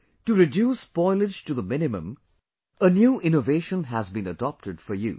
To reduce spoilage to the minimum, a new innovation has been adopted for use